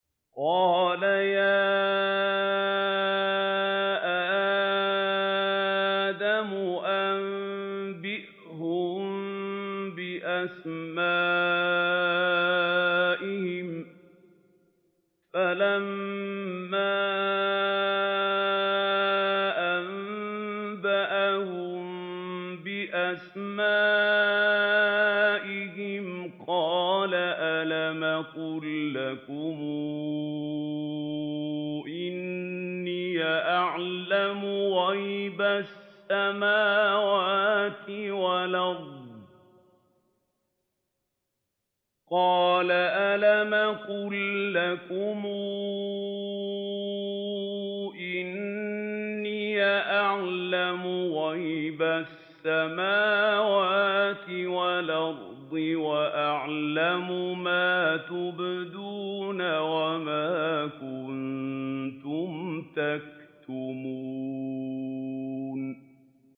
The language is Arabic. قَالَ يَا آدَمُ أَنبِئْهُم بِأَسْمَائِهِمْ ۖ فَلَمَّا أَنبَأَهُم بِأَسْمَائِهِمْ قَالَ أَلَمْ أَقُل لَّكُمْ إِنِّي أَعْلَمُ غَيْبَ السَّمَاوَاتِ وَالْأَرْضِ وَأَعْلَمُ مَا تُبْدُونَ وَمَا كُنتُمْ تَكْتُمُونَ